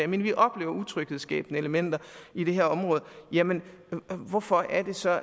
men vi oplever utryghedsskabende elementer i det her område hvorfor er det så